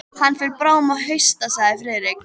Hann fer bráðum að hausta sagði Friðrik.